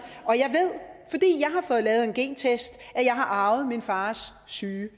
fået lavet en gentest at jeg har arvet min fars syge